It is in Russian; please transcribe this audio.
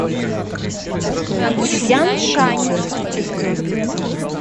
цзяншань